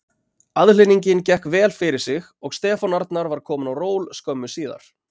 Aðhlynningin gekk vel fyrir sig og Stefán Arnar var kominn á ról skömmu síðar.